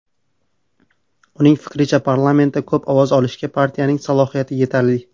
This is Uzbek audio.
Uning fikricha, parlamentda ko‘p ovoz olishga partiyaning salohiyati yetarli.